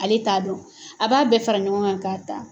Ale t'a dɔn a b'a bɛɛ fara ɲɔgɔn kan k'a ta.